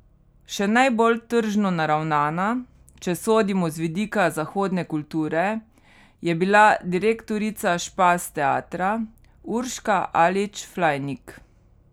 Še najbolj tržno naravnana, če sodimo z vidika zahodne kulture, je bila direktorica Špas teatra Urška Alič Flajnik.